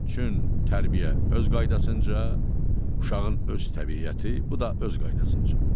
Çün tərbiyə öz qaydasınca, uşağın öz təbiəti, bu da öz qaydasınca.